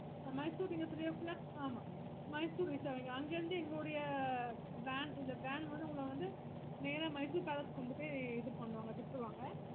mysore நீங்க three o clock ஆமா Mysore reach ஆவிங்க அங்க இருந்து எங்களோட van இல்ல van வந்து உங்கள வந்து நேரா Mysore palace கொண்டு போயி இது பண்ணுவாங்க விட்ருவாங்க